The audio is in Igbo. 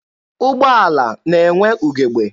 Ụgbọala na-enwe ugebe.